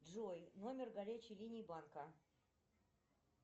джой номер горячей линии банка